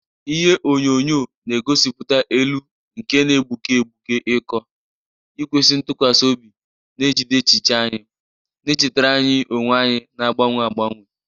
Ihe onyóyó na-egosipụta elu nke na-egbuke egbuke iko, ikwesị ntụkwasị obi na-ejide echiche anyị, na-echetara anyị onwe anyị na-agbanwe agbanwe